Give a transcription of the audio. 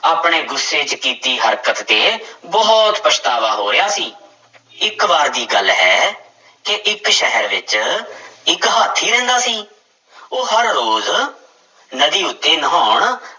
ਆਪਣੇ ਗੁੱਸੇ ਚ ਕੀਤੀ ਹਰਕਤ ਤੇ ਬਹੁਤ ਪਛਤਾਵਾ ਹੋ ਰਿਹਾ ਸੀ ਇੱਕ ਵਾਰ ਦੀ ਗੱਲ ਹੈ ਕਿ ਇੱਕ ਸ਼ਹਿਰ ਵਿੱਚ ਇੱਕ ਹਾਥੀ ਰਹਿੰਦਾ ਸੀ, ਉਹ ਹਰ ਰੋਜ਼ ਨਦੀ ਉੱਤੇ ਨਹਾਉਣ